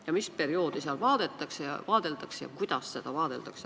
Ja mis perioodil seda vaadeldakse?